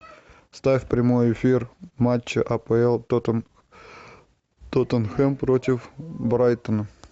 вставь прямой эфир матча апл тоттенхэм против брайтона